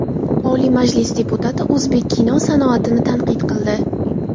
Oliy Majlis deputati o‘zbek kino sanoatini tanqid qildi.